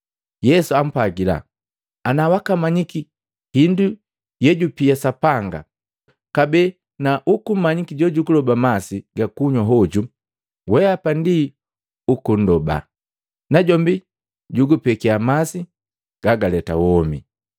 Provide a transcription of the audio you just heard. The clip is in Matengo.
Yesu ampwagila, “Ana wakamanyiki hindu yejupia Sapanga, kabee na ukummanyiki jojuguloba masi ga kunywa hoju, weapa ndi ukundoba, najombi jukugupekia masi gagaleta womi.”